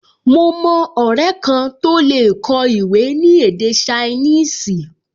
Mo mọ ọrẹ kan tó lè kọ ìwé ní èdè ṣainíìsì